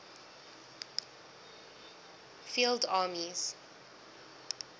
field armies